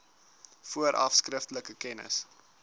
vooraf skriftelik kennis